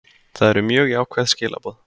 Það eru mjög jákvæð skilaboð